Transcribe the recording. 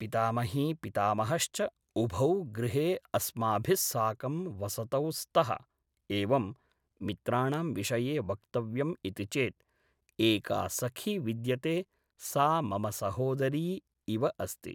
पितामही पितामहश्च उभौ गृहे अस्माभिस्साकं वसतौ स्तः एवं मित्राणां विषये वक्तव्यम् इति चेत् एका सखी विद्यते सा मम सहोदरी इव अस्ति